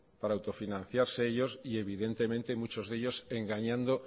para autofinanciarse ellos y evidentemente muchos de ellos engañando